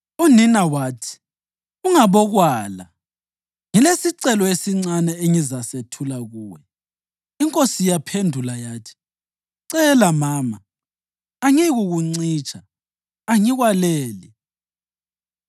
Unina wathi, “Ungabokwala, ngilesicelo esincane engizasethula kuwe.” Inkosi yaphendula yathi, “Cela mama, angiyikukuncitsha, angikwaleli.”